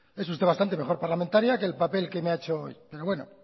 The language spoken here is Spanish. es usted bastante mejor parlamentaria que el papel que me ha hecho hoy pero bueno